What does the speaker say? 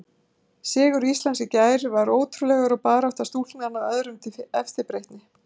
Sigur Íslands í gær var ótrúlegur og barátta stúlknanna öðrum til eftirbreytni.